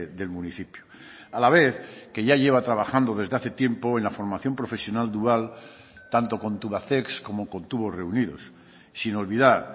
del municipio a la vez que ya lleva trabajando desde hace tiempo en la formación profesional dual tanto con tubacex como con tubos reunidos sin olvidar